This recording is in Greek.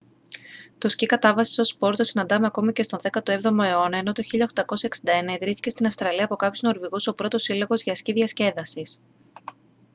το σκι κατάβασης ως σπορ το συναντάμε ακόμα και στον 17ο αιώνα ενώ το 1861 ιδρύθηκε στην αυστραλία από κάποιους νορβηγούς ο πρώτος σύλλογος για σκι διασκέδασης